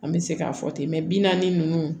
An bɛ se k'a fɔ ten mɛ bi naani ninnu